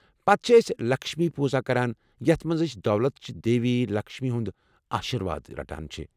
پتہٕ چھِ أسۍ 'لکشمی پوٗزاہ' کران، یتھ منٛز أسۍ ، دولت چہِ دیوی ،لکشمی ہُند آشِرواد رٹان چھِ ۔